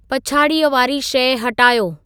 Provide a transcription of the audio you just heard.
पछाड़ीअ वारी शइ हटायो